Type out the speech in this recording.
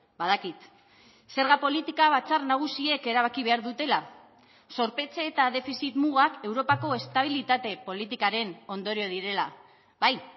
badakit zerga politika batzar nagusiek erabaki behar dutela zorpetze eta defizit mugak europako estabilitate politikaren ondorio direla bai